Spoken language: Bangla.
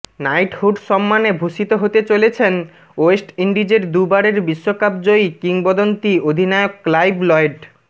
নাইটহুড সম্মানে ভূষিত হতে চলেছেন ওয়েস্ট ইন্ডিজের দুবারের বিশ্বকাপজয়ী কিংবদন্তি অধিনায়ক ক্লাইভ লয়েড